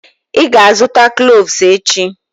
Ị ga-azụta cloves echi.